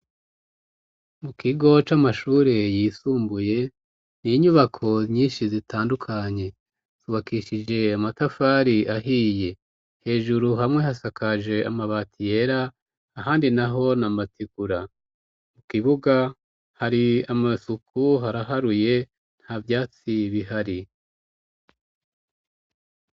Mu kigo c'amashure yisumbuye ni inyubako nyinshi zitandukanye, zubakishije amatafari ahiye. Hejuru hamwe hasakaje amabati yera ahandi naho ni amategura, mu kibuga hari amasuku, haraharuye nta vyatsi bihari.